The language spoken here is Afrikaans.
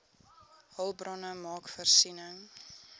hulpbronne maak voorsiening